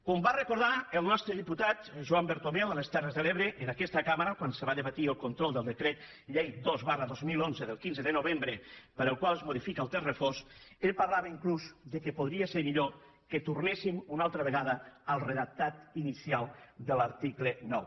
com va recordar el nostre diputat joan bertomeu a les terres de l’ebre en aquesta cambra quan se va debatre el control del decret llei dos dos mil onze del quinze de novembre pel qual es modifica el text refós ell parlava inclús que podria ser millor que tornéssim una altra vegada al redactat inicial de l’article nou